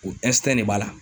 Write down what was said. O de b'a la.